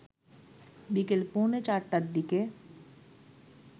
বিকেল পৌনে ৪ টার দিকে